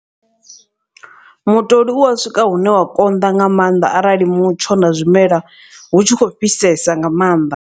Mutoli u wa swika hune wa konḓa nga maanḓa arali mutsho na zwimela hu tshi khou fhisesa nga maanḓa.